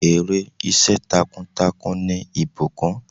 Èrè iṣẹ́ takuntakun ni ìbùkùn.